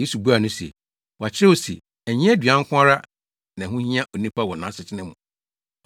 Yesu buaa no se, “Wɔakyerɛw se, ‘Ɛnyɛ aduan nko ara na ɛho hia onipa wɔ nʼasetena mu.’ ”